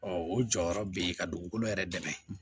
o jɔyɔrɔ bɛ yen ka dugukolo yɛrɛ dɛmɛ